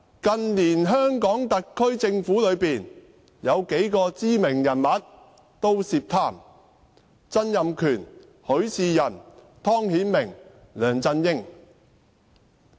近年的香港特區政府有數個知名人物均涉貪：曾蔭權、許仕仁、湯顯明和梁振英。